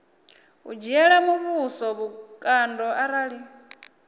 u dzhiela muvhuso vhukando arali